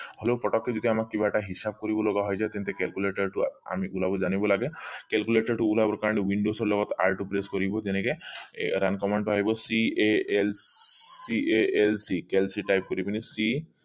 হলেও পতকে যেতিয়া আমাক কিবা এটা হিচাপ কৰিব লগা হৈ যায় তেন্তে calculator আমি ওলাব জানিব লাগে calculator টো ওলাবৰ কাৰণে windows ৰ লগত r টো press কৰিব যেনেকে এৰ টো আহিব call calc type কৰি পিনি c